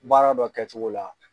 Baara dɔ kɛcogo la.